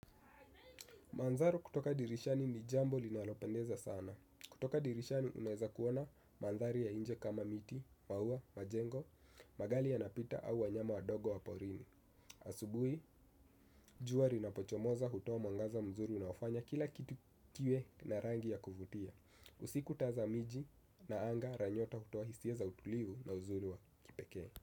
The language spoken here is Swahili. Manzaru kutoka dirishani ni jambo linalopendeza sana. Kutoka dirishani unaweza kuona madhari ya inje kama miti maua majengo magari yanapita au wanyama wadogo wa porini. Asubuhi, jua inapochomoza hutoa mwangaza mzuri unaofanya kila kitu kiwe na rangi ya kuvutia. Usiku taa za miji na anga ranyota hutoa hisia za utulivu na uzuri wa kipeke.